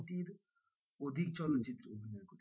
আশিটির অধিক চলচ্চিত্রে অভিনয় করেছেন।